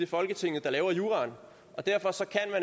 folketinget der laver juraen og derfor